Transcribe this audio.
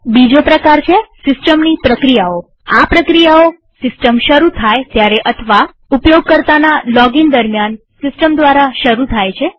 બીજો પ્રકાર છે સિસ્ટમની પ્રક્રિયાઓઆ પ્રક્રિયાઓ સિસ્ટમ શરુ થાય ત્યારે અથવા ઉપયોગકર્તાના લોગઇન દરમ્યાન સિસ્ટમ દ્વારા શરુ થાય છે